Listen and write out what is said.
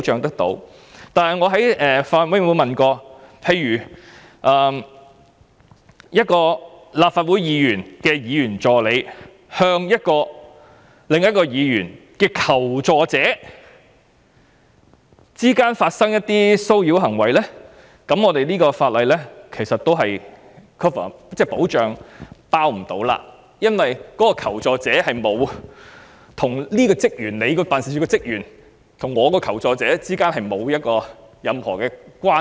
但是，正如我在法案委員會提過，如果一位議員助理與另一位議員的求助者之間發生騷擾行為，便不屬於法例的保障範圍，原因是這名求助者與議員助理之間並沒有任何關係。